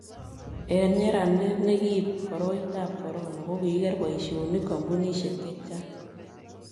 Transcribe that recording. eng' nyeranet ne kiibi koroitab korono kokiker boisionik kampunisiek che chang'